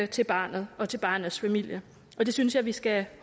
til barnet og til barnets familie og det synes jeg vi skal